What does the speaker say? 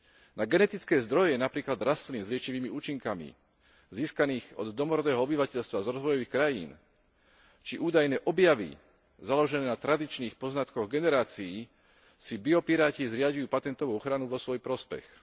Na genetické zdroje napríklad rastlín s liečivými účinkami získaných od domorodého obyvateľstva z rozvojových krajín či údajné objavy založené na tradičných poznatkoch generácií si biopiráti zriaďujú patentovú ochranu v svoj prospech.